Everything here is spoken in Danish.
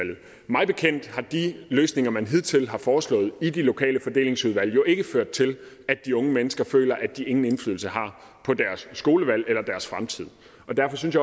mig bekendt har de løsninger man hidtil har foreslået i de lokale fordelingsudvalg jo ikke ført til at de unge mennesker føler at de ingen indflydelse har på deres skolevalg eller deres fremtid derfor synes